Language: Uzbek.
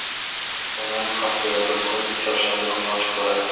Kutubxonam haftada bir kun, chorshanba kuni ochiq bo‘ladi.